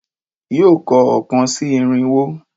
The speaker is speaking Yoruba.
Yóò kọ oókan sí irínwó